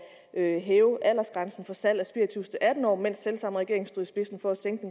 at hæve aldersgrænsen for salg af spiritus til atten år mens selv samme regering stod i spidsen for at sænke